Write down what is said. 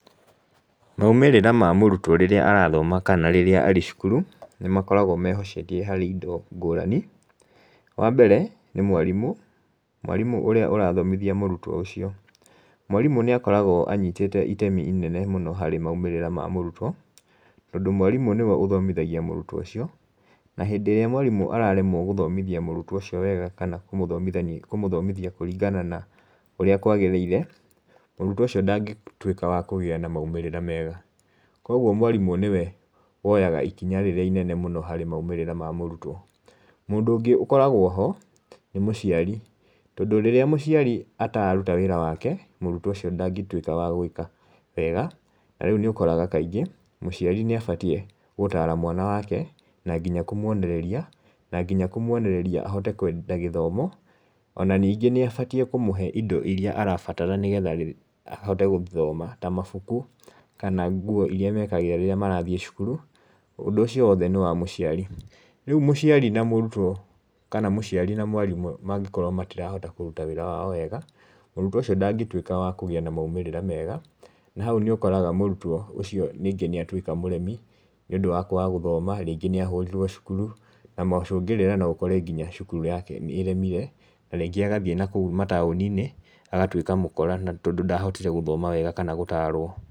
Maumĩrĩra ma mũrutwo rĩrĩa arathoma kana rĩrĩa arĩ cukuru, nĩ makoragwo mehocetie harĩ indo ngũrani. Wa mbere, nĩ mwarimu. Mwarimũ ũrĩa ũrathomithia mũrutwo ũcio, na hĩndĩ ĩrĩa mwarimũ araremwo gũthomithia mũrutwo ũcio wega, kana kũmũthomithia ũrĩa kwagĩrĩire, mũrutwo ũcio ndangĩtwĩka wa kũgĩa na maumĩrĩra mega. Kogwo mwarimũ nĩwe woyaga ikinya rĩrĩa inene mũno harĩ maumĩrra ma mũrutwo. Mũndũ ũngĩ ũkoragwo ho, nĩ mũciari. Tondũ rĩrĩa mũciari atararuta wĩra wake, mũrutwo ũcio ndangĩtwĩka wa gwĩka, wega. Na rĩu nĩ ũkoraga kaingĩ, mũciari nĩ abatiĩ gũtara mwana wake, na nginya kũmuonereria, na nginya kũmuonereria ahote kwenda gĩthomo, ona ningĩ nĩ abatiĩ kũmũhe indo iria arabatara nĩgetha ahote gũthoma, ta mabuku, kana nguo iria mekagĩra rĩrĩa marathiĩ cukuru, ũndũ ũcio wothe nĩ wa mũciari. Rĩu mũciari na mũrutwo, kana mũciari na mwarimũ mangĩkorwo matirahota kũruta wĩra wao wega, mũrutwo ũcio ndangĩtwĩka wa kũgĩa na maumĩrĩra mega, na hau nĩ ũkoraga mũrutwo ũcio nĩngĩ nĩ atwĩka mũremi, nĩ ũndũ wa kwaga gũthoma, rĩngĩ nĩ ahũrirwo cukuru, na mũcũngĩrĩra no ũkore nginya cukuru yake nĩ ĩremire, na rĩngĩ agathiĩ na kũũ matauni-inĩ, agatuĩka mũkora na tondũ ndahotire gũthoma wega kana gũtarwo.